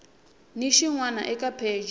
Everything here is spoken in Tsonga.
ni xin wana eka pheji